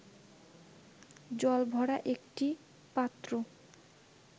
জলভরা একটি পাত্র